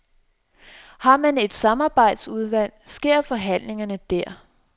Har man et samarbejdsudvalg, sker forhandlingerne der.